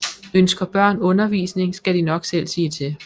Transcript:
Ønsker børn undervisning skal de nok selv sige til